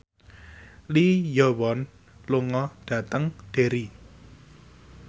Lee Yo Won lunga dhateng Derry